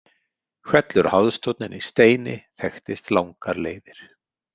Hvellur háðstónninn í Steini þekktist langar leiðir.